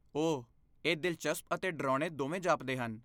ਓਹ, ਇਹ ਦਿਲਚਸਪ ਅਤੇ ਡਰਾਉਣੇ ਦੋਵੇਂ ਜਾਪਦੇ ਹਨ।